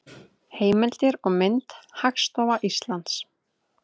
Heimildir og mynd: Hagstofa Íslands.